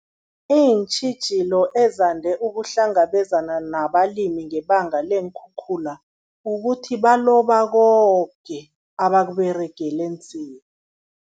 Iintjhijilo ezande ukuhlangabezana nabalimi ngebanga leenkhukhula, kukuthi baloba koke abakUberegeli nzima.